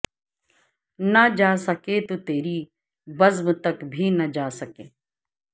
نہ جاسکے تو تری بزم تک بھی جا نہ سکے